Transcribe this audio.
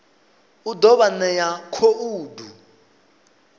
u ḓo vha ṋea khoudu